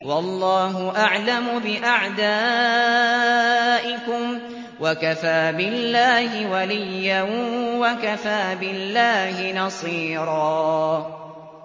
وَاللَّهُ أَعْلَمُ بِأَعْدَائِكُمْ ۚ وَكَفَىٰ بِاللَّهِ وَلِيًّا وَكَفَىٰ بِاللَّهِ نَصِيرًا